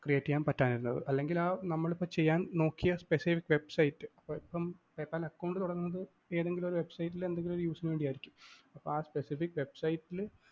create ചെയ്യാന്‍ പറ്റാതിരുന്നത് അല്ലെങ്കില്‍ ആ നമ്മളിപ്പം ചെയ്യാന്‍ നോക്കിയ specific website ഇപ്പം PayPal account തുടങ്ങുന്നത് ഏതെങ്കിലുമൊരു website ല്‍ എന്തെങ്കിലുമൊരു use നു വേണ്ടിയായിരിക്കും അപ്പൊ ആ specific website ല്‍